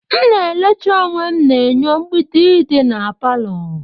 M na elecha onwe na enyo mgbidi dị na palọ.